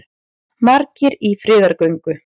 Margir í friðargöngu